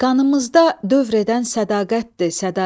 Qanımızda dövr edən sədaqətdir sədaqət.